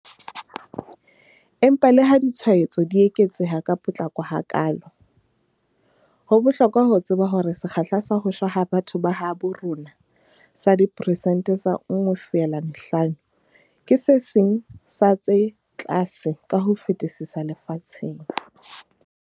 Empa leha ditshwaetso di eketseha ka potlako hakaalo, ho bohlokwa ho tseba hore sekgahla sa ho shwa ha batho ba habo rona sa diperesente tse 1.5 ke se seng sa tse tlase ka ho fetisisa lefatsheng.